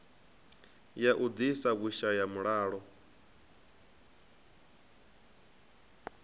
ya u ḓisa vhushaya mulalo